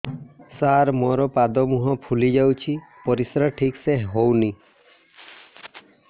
ସାର ମୋରୋ ପାଦ ମୁହଁ ଫୁଲିଯାଉଛି ପରିଶ୍ରା ଠିକ ସେ ହଉନି